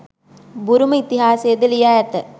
බුරුම ඉතිහාසයද ලියා ඇත.